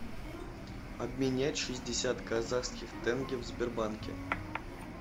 обменять шестьдесят казахских тенге в сбербанке